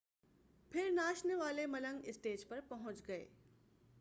پھر ناچنے والے ملنگ اسٹیج پر پہنچ گئے